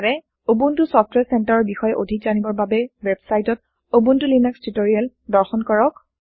Ubuntu ছফটৱাৰে Centreৰ বিষয়ে অধিক জানিবৰ বাবে ৱেবচাইটত উবুন্তু লিনাক্স টিওটৰিয়েল দৰ্শন কৰক